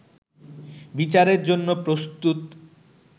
বিচারের জন্য প্রস্তুত